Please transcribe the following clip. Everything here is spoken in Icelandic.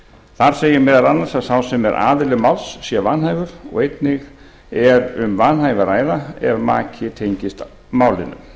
þar segir meðal annars að sá sem er aðili máls sé vanhæfur og einnig er um vanhæfi að ræða ef maki tengist málinu